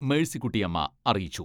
മേഴ്സിക്കുട്ടി അമ്മ അറിയിച്ചു.